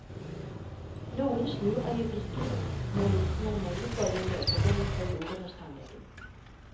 Noen snur øyeblikkelig når lukten av nellikolje møter dem i korridoren hos tannlegen.